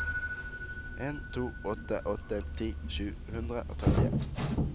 en to åtte åtte ti sju hundre og trettien